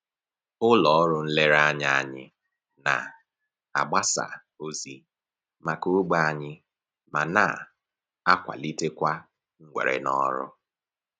Ụlọ ọrụ nlereanya anyị na-agbasa ozi maka ogbe anyị ma na-akwalitekwa mwere n'ọrụ